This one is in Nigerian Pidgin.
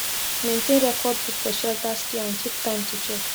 maintain record book for shelters care and keep time to check